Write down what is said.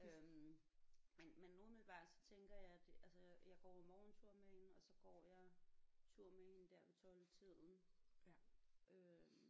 Øh men men umiddelbart så tænker jeg det altså jeg går jo morgentur med hende og så går jeg tur med hende der ved 12 tiden øh